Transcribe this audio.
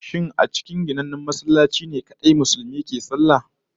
Shin sai lallai a cikin ginannen masallaci ne kadai Musulmi suke sallah?